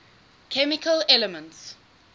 chemical elements